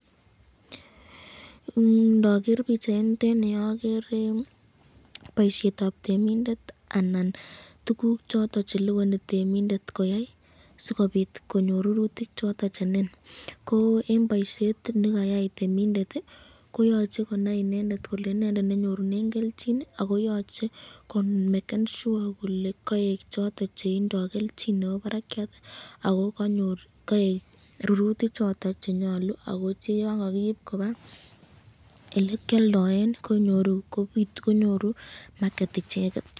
Ndoker bichainitet nii okere boishetab temindet anan tukuk choton cheliboni temindet ko yaii sikobit konyor rurutik choton che nin, ko en boishet nekayai temindet ko yoche konai inendet kole inendet nenyorunen kelchin ak ko yoche komeken shua kole koek choton chetindo kelchin nebo barakiat ak ko konyor koik ruruti choton chenyolu ak ko cheyon ko kiib kobaa elekioldoen konyoru maket icheket.